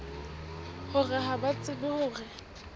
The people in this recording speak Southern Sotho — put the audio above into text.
hore ha ba tsebe hore